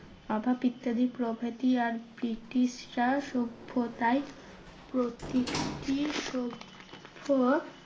অভাব ইত্যাদি প্রভৃতি আর ব্রিটিশ রা সভ্য তাই প্রতিটি সভ্য